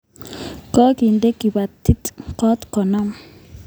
Kokinet kapatik ngot ko nam